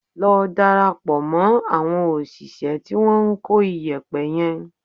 Lọ darapọ̀ mọ́ àwọn òṣìṣẹ́ tí wọ́n ń kó iyẹ̀pẹ̀ yẹn